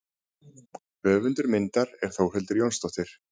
Höfundur myndar er Þórhildur Jónsdóttir.